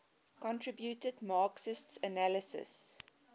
contributed marxist analyses